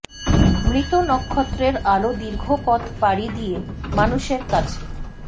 মৃত নক্ষত্রের আলো দীর্ঘ পথ পাড়ি দিয়ে মানুষের কাছে